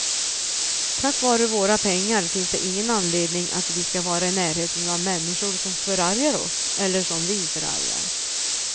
Tack vare våra pengar finns det ingen anledning att vi ska vara i närheten av människor som förargar oss, eller som vi förargar.